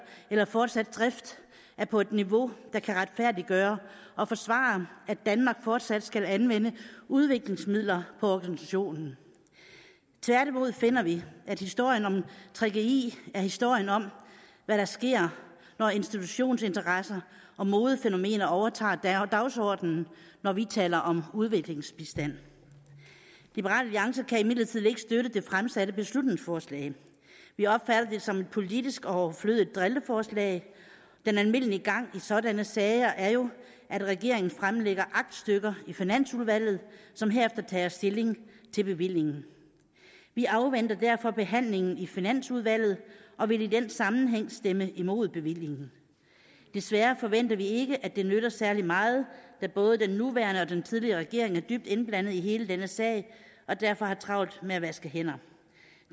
eller fortsatte drift er på et niveau der kan retfærdiggøre og forsvare at danmark fortsat skal anvende udviklingsmidler på organisationen tværtimod finder vi at historien om gggi er historien om hvad der sker når institutionsinteresser og modefænomener overtager dagsordenen når vi taler om udviklingsbistand liberal alliance kan imidlertid ikke støtte det fremsatte beslutningsforslag vi opfatter det som et politisk overflødigt drilleforslag den almindelige gang i sådanne sager er jo at regeringen fremlægger aktstykker i finansudvalget som herefter tager stilling til bevillingen vi afventer derfor behandlingen i finansudvalget og vil i den sammenhæng stemme imod bevillingen desværre forventer vi ikke at det nytter særlig meget da både den nuværende og den tidligere regering er dybt indblandet i hele denne sag og derfor har travlt med at vaske hænder